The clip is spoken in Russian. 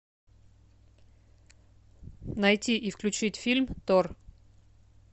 найти и включить фильм тор